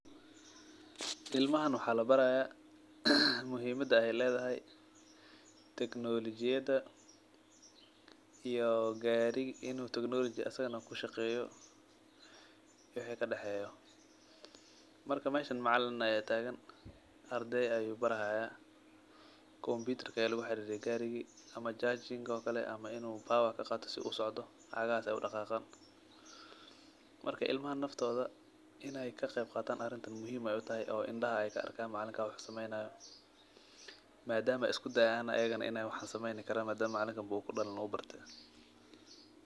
ilmahan waxa labaraya muhiimada ey ledahay teknolijiyada iyo gariga inu asagana teknoloji kushaqeyo wixi kadexeyo marka eeshan macalin aya tagan ardeyda ayu baraya kombutar ayu luguxaririye garigi ama jajar oo kale ama bowar inu kaqato oo gacahas ey udaqaqan marka ilmaha nafta in ey kaqeyb qatan arintan muhiim waye oo indaha ey kaarka macalinka wuxu sameynayo oo iskudayan madam asagabo uu barte uu barte.